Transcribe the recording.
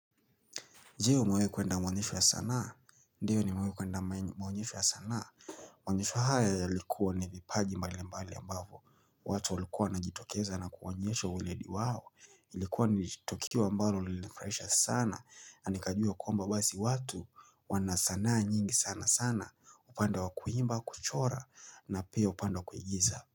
Je umewahi kuenda mwanyesho ya sanaa, ndiyo nimewahi kuenda maonyesho ya sanaa Maonyesho haya yalikuwa ni vipaji mbali mbali ambavu, watu walikuwa wanajitokeza na kuwanyesho uledi wao Ilikuwa nilitokio ambalo ulifraisha sana, anikajua kwamba basi watu wanasanaa nyingi sana sana upande wakuimba, kuchora na pia upanda wakuigiza.